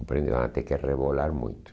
vai ter que rebolar muito.